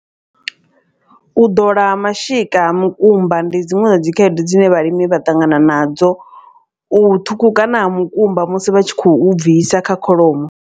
U ḓola ha mashika ha mukumba ndi dziṅwe dza dzi khaedu dzine vhalimi vha ṱangana nadzo. U ṱhukhukana ha mukumba musi vha tshi khou bvisa kha kholomo.